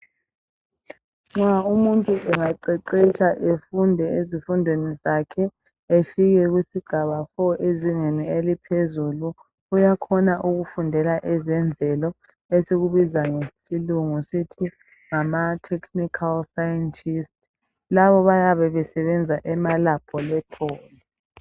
Nxa umuntu engaqeqetsha efunde ezifundweni zakhe efike kusigaba 4 ezingeni eliphezulu uyakhona ukufundela ezemvelo esikubiza ngesilungu sithi ngatechnical scientist, labo bayabe besebenza emalaboratory.